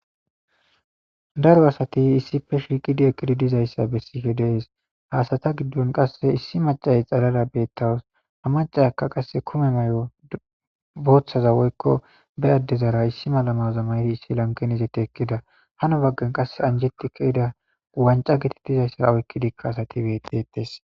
daro asati issife shiiqidi ekkidi dizayssa bessife dees haasata giddon qasse issi macaye xalara beettawus ha macayakka qasse kume may7o booththaza woykko bey addezara issi malamaza maydi issi lankenizeti ekkida hano baggan qas anjetika ida wanca giti dizayssara oykki dikka asati betetes